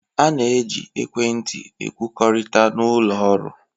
A na-eji ekwentị ekwukọrịta n'ụlọ ọrụ